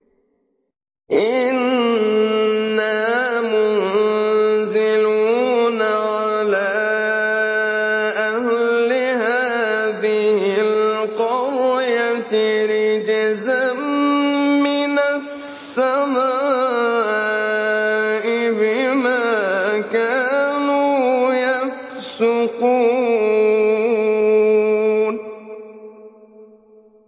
إِنَّا مُنزِلُونَ عَلَىٰ أَهْلِ هَٰذِهِ الْقَرْيَةِ رِجْزًا مِّنَ السَّمَاءِ بِمَا كَانُوا يَفْسُقُونَ